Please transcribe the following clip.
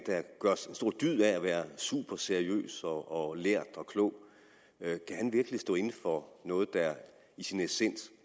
stor dyd af at være super seriøs og lærd og klog kan stå inde for noget der i sin essens